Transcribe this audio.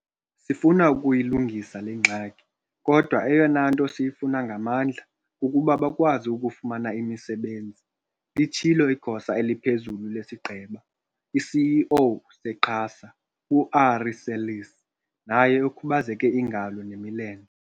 Sifuna ukuyilungisa le ngxaki, kodwa eyona nto siyifuna ngamandla kukuba bakwazi ukufumana imisebenzi," litshilo iGosa eliPhezulu lesiGqeba i-CEO se-QASA u-Ari Seirlis naye okhubazeke iingalo nemilenze.